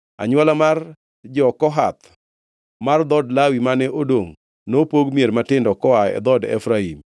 Anywola mar jo-Kohath mar dhood Lawi mane odongʼ nopog mier matindo koa e dhood Efraim.